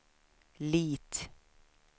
Lit